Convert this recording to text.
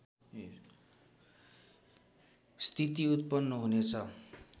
स्थिति उत्पन्न हुनेछ